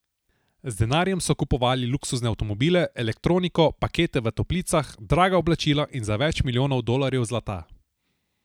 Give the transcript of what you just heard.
Z denarjem so kupovali luksuzne avtomobile, elektroniko, pakete v toplicah, draga oblačila in za več milijonov dolarjev zlata.